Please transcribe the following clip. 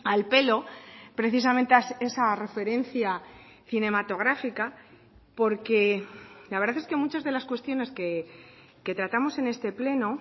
al pelo precisamente esa referencia cinematográfica porque la verdad es que muchas de las cuestiones que tratamos en este pleno